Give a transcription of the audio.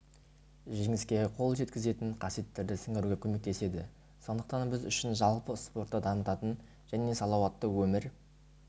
жеңіске қол жеткізетін қасиеттерді сіңіруге көмектеседі сондықтан біз үшін жалпы спортты дамытатын және салауатты өмір